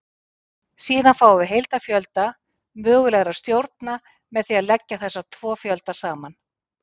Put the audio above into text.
Síðan fáum við heildarfjölda mögulegra stjórna með því að leggja þessa tvo fjölda saman.